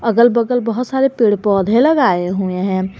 अगल बगल बहोत सारे पेड़ पौधे लगाए हुए हैं।